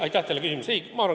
Aitäh teile küsimuse eest!